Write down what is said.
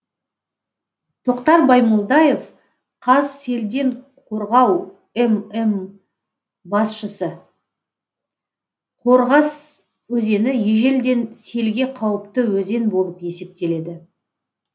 тоқтар баймолдаев қазселденқорғау мм басшысы қорғас өзені ежелден селге қауіпті өзен болып есептеледі